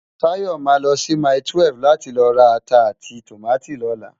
Tayo má lò si máitúèf láti lò rá àtá áti tómàtó lòlá